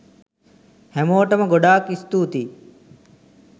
හැමෝටම ගොඩාක් ස්තූතියි.